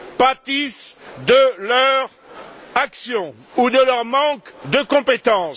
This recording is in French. pâtissent de leur action ou de leur manque de compétences.